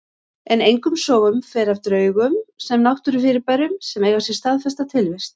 En engum sögum fer af draugum sem náttúrufyrirbærum sem eiga sér staðfesta tilvist.